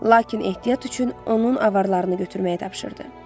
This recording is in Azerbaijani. Lakin ehtiyat üçün onun avarlarını götürməyi tapşırdı.